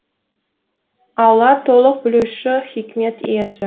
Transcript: алла толық білуші хикмет иесі